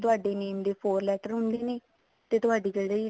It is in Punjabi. ਤੁਹਾਡੇ name ਦੇ four letter ਹੁੰਦੇ ਨੇ ਤੁਹਾਡੀ ਜਿਹੜੀ